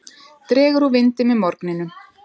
Dregur úr vindi með morgninum